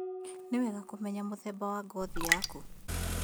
Ni wega kũmenya mũthemba wa ngothi yaku